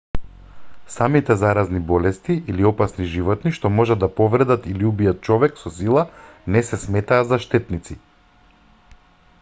самите заразни болести или опасни животни што можат да повредат или убијат човек со сила не се сметаат за штетници